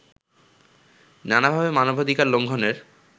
নানাভাবে মানবাধিকার লঙ্ঘনের